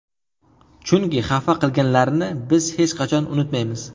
Chunki xafa qilganlarni biz hech qachon unutmaymiz.